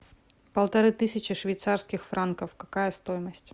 полторы тысячи швейцарских франков какая стоимость